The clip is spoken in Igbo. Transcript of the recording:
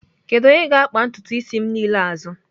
Kedu onye ga-akpa ntutu isi m niile azụ?